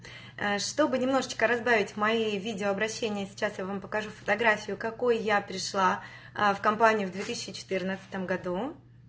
чтобы немножечко разбавить мои видеообращения сейчас я вам покажу фотографию какой я пришла в компанию в две тысячи четырнадцатом году